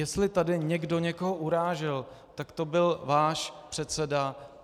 Jestli tady někdo někoho urážel, tak to byl váš předseda.